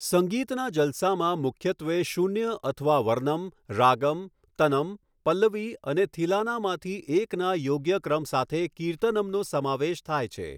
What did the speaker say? સંગીતના જલસામાં મુખ્યત્વે શૂન્ય અથવા વર્નમ, રાગમ, તનમ, પલ્લવી અને થિલાનામાંથી એકના યોગ્ય ક્રમ સાથે કીર્તનમનો સમાવેશ થાય છે.